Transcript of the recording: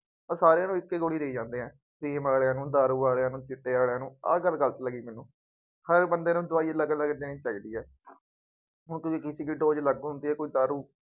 ਉਹ ਸਾਰਿਆਂ ਨੂੰ ਇੱਕ ਹੀ ਗੋਲੀ ਦੇਈ ਜਾਂਦੇ ਹੈ। ਆਹ ਗੱਲ ਗਲਤ ਲੱਗੀ ਮੈਨੂੰ, ਹਾਂ ਬੰਦੇ ਨੂੰ ਦਵਾਈ ਅਲੱਗ ਅਲੱਗ ਦੇਣੀ ਚਾਹੀਦੀ ਹੈ। ਹੁਣ ਤੁਸੀਂ ਜੇ ਕੋਈ ਦਾਰੂ